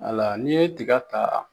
Hala n'i ye tiga ta